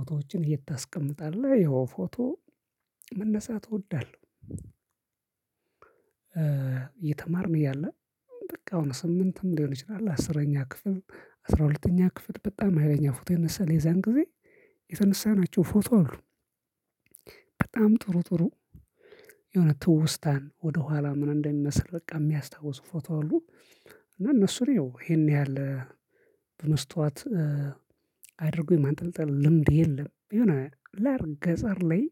ፎቶዎችን የት ታስቀምጣለህ? ያው ፎቶ መነሳት እወዳለሁ። እየተማርን እያለ በቃ አሁን ስምንትም ሊሆን ይችላል አስረኛ ክፍል አስራ ሁለተኛ ክፍት በጣም ሀይለኛ ፎቶ ይነሳል የዛን ጊዜ የተነሳናቸው ፎቶ አሉ። በጣም ጥሩ ጥሩ የሆነ ትውስታን ወደኋላ ምን እንደሚመስል በቃ የሚያስታውሱ ፎቶ አሉ። እና እነሱ ላይ ያው ይሄን ያህል በመስታወት አድርጎ የማንጠልጠል ልምድ የለም የሆነ አለ አይደል ገጠር ላይ።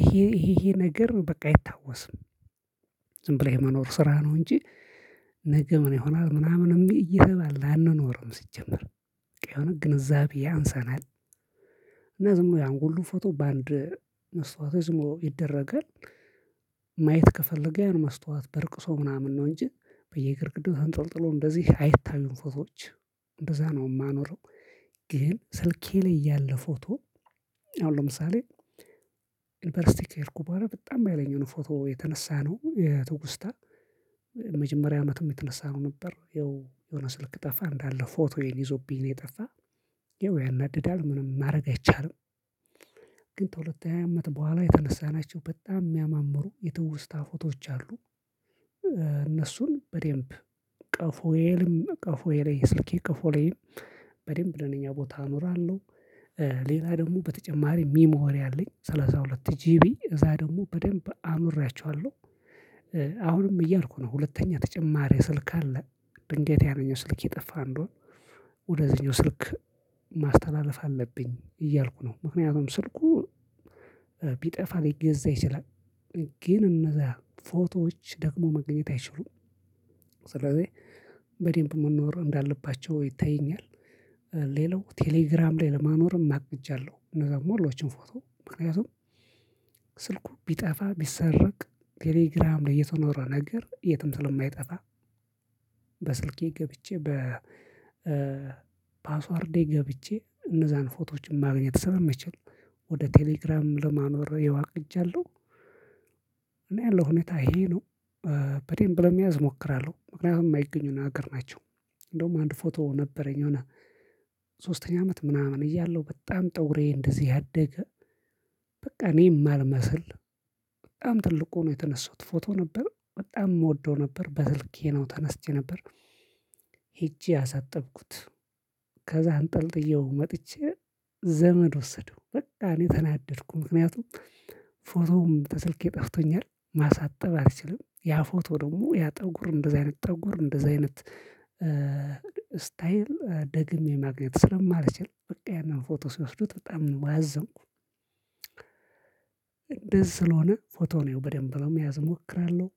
ይሄ ይሄ ነገር በቃ አይታወስም። ዝም ብለህ የመኖር ስራ ነው እንጂ። ነገ ምን ይሆናል ምናምን የሚል እየተባለ አንኖርም ሲጀመር በቃ የሆነ ግንዛቤ ያንሰናል። እና ዝምብሎ ያን ሁሉ ፎቶ በአንድ መስታወት ላይ ዝምብሎ ይደረጋል። ማየት ከፈለገ ያን መስታወት በርቅሶ ምናምን ነው እንጂ በየግርግዳው ተንጠልጥሎ እንደዚህ አይታዩም ፎቶዎች። እንደዛ ነው የማኖረው። ግን ስልኬ ላይ ያለ ፎቶ አሁን ለምሳሌ ዩኒቨርሲቲ ከሄድኩ በኋላ በጣም ሀይለኛ ነው። ፎቶ የተነሳነው የትውስታ መጀመሪያ አመትም የተነሳነው ነበር ያው የሆነ ስልክ ጠፋ እንዳለ ፎቶዬን ይዞብኝ ነው የጠፋ። ይው ያናድዳል ምንም ማድረግ አይቻልም። ግን በሁለተኛ አመት በኋላ የተነሳናቸው በጣም የሚያማምሩ የትውስታ ፎቶዎች አሉ። እነሱን በደንብ ቀፎየልም ቀፎዬ ላይ የስልኬ ቀፎ ላይም በደንብ ለኔኛ ቦታ አኖራለሁ። ሌላ ደግሞ በተጨማሪ ሚሞሪ አለኝ ሰላሳ ሁለት ጂቢ እዛ ደግሞ በደንብ አኑሬያቸዋለሁ። አሁንም እያልኩ ነው ሁለተኛ ተጨማሪ ስልክ አለ። ድንገት ያነኙ ስልክ የጠፋ እንደሆነ ወደዚህኛው ስልክ ማስተላለፍ አለብኝ እያልኩ ነው ምክንያቱም ስልኩ ቢጠፋ ሊገዛ ይችላል። ግን እነዛ ፎቶዎች ደግሞ መገኘት አይችሉም። ስለዚህ በደንብ መኖር እንዳለባቸው ይታየኛል። ሌላው ቴሌግራም ላይ ለማኖርም አቅጃለው እነዛ ሙሉዎችን ፎቶ ምክንያቱም ስልኩ ቢጠፋ ቢሰረቅ ቴሌግራም ላይ የተኖረ ነገር የትም ስለማይጠፋ። በስልኬ ገብቼ በፓስዎርዴ ገብቼ እነዛን ፎቶዎች ማግኘት ስለምችል በቴሌግራም ለማኖር ያው አቅጃለሁ። እና ያለው ሁኔታ ይሄ ነው። በደንብ ለመያዝ እሞክራለሁ ምክንያቱም የማይገኙ ነገር ናቸው። እንዴውም አንድ ፎቶ ነበረኝ የሆነ ሶስተኛ አመት ምናምን እያለሁ በጣም ፀጉሬ እንደዚህ ያደገ በቃ እኔ የማልመስል በጣም ትልቅ ሆኖ የተነሳሁት ፎቶ ነበር በጣም እወደው ነበር በስልኬ ነው ተነስቼ የነበር። ሄጄ አሳጠብኩት። ከዛ አንጠልጥዬው መጥቼ ዘመድ ወሰደው በቃ እኔ ተናደድኩ ምክንያቱም ፎቶው ከስልኬ ጠፍቶኛል። ማሳጠብ አልችልም ያ ፎቶ ደግሞ ያ ፀጉር እንደዚያ አይነት ፀጉር እንደዚያ አይነት ስታይል ደግሜ ማግኘት ስለማልችል በቃ ያንን ፎቶ ሲወስዱት በጣም ነው ያዘንኩኝ። እንደዚህ ስለሆነ ፎቶውን ያው በደንብ ለመያዝ እሞክራለሁ።